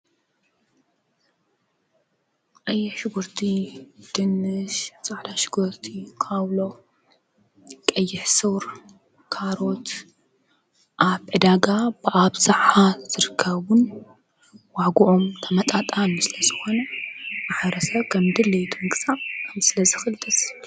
ቀይሕ ሽጉርቲ፣ ድንሽ፣ ፃዕዳ ሽጉርቲ፣ ካውሎ፣ ቀይሕ ሱር፣ ካሮት ኣብ ዕዳጋ ብኣብዘሓ ዝርከቡን ዋግኦም ተመጣጣኒ ስለዝኾነ ማሕበረሰብ ከምድሌቱ ምግዛእ ስለዝኽእል ደስ ይብል።